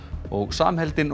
samheldinn